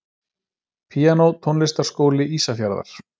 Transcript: Píanó Tónlistarskóli Ísafjarðar.